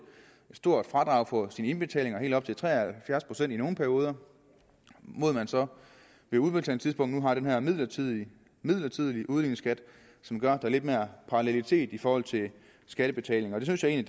stort fradrag for sine indbetalinger helt op til tre og halvfjerds procent i nogle perioder mod at man så ved udbetalingstidspunktet nu har den her midlertidige midlertidige udligningsskat som gør at er lidt mere parallelitet i forhold til skattebetalinger og det synes jeg